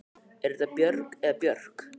Er það Björg eða Björk?